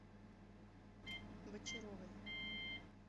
бочаровой